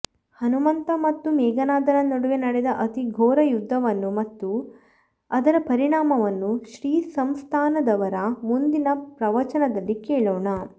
ಹನುಮಂತ ಮತ್ತು ಮೇಘನಾದನ ನಡುವೆ ನಡೆದ ಅತೀಘೋರ ಯುದ್ಧವನ್ನು ಮತ್ತು ಅದರ ಪರಿಣಾಮವನ್ನು ಶ್ರೀಸಂಸ್ಥಾನದವರ ಮುಂದಿನ ಪ್ರವಚನದಲ್ಲಿ ಕೇಳೋಣ